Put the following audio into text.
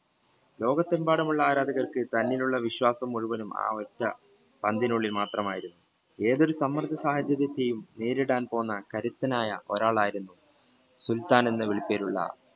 ലോകത്തെമ്പാടുമുള്ള ആരാധകർക്ക് തന്നിലുള്ള വിശ്വാസം മുഴുവൻ ആ ഒറ്റ പന്തിനുള്ളിൽ മാത്രമായിരുന്നു ഏതൊരു സമ്പ്രജസാഹചര്യത്തിൽ നേരിടാൻ പോകുന്ന കരുത്തനായ ഒരാൾ ആയിരുന്നു സുൽത്താൻ എന്ന് വിളിപ്പേരുള്ള